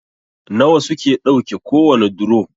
nawa suke ɗauke kowane duro?